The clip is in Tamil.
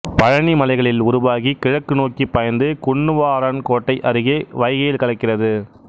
பழனி மலைகளில் உருவாகி கிழக்கு நோக்கிப் பாய்ந்து குன்னுவாரன்கோட்டை அருகே வைகையில் கலக்கிறது